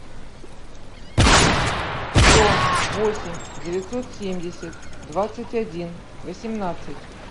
сто восемь девятьсот семьдесят двадцать один восемнадцать